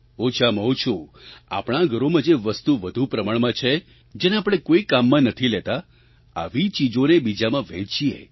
ઓછોમાં ઓછું આપણાં ઘરોમાં જે વસ્તુ વધુ પ્રમાણમાં છે જેને આપણે કોઈ કામમાં નથી લેતા આવી ચીજોને બીજામાં વહેંચીએ